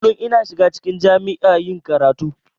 Kullun ina shiga cikin jami'a yin karatu.